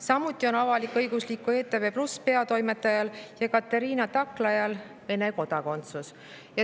Samuti on avalik-õigusliku ETV+ peatoimetajal Ekaterina Taklajal Vene kodakondsus.